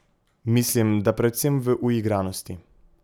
Mislim, da predvsem v uigranosti.